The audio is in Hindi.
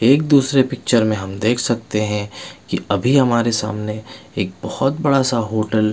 एक दूसरे पिक्चर में हम देख सकते है की अभी हमारे सामने एक बोहोत बड़ा सा होटल --